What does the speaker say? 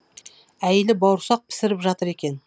әйелі бауырсақ пісіріп жатыр екен